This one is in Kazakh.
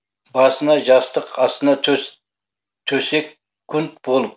басына жастық астына төс секунд болып